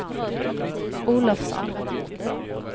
Olofsson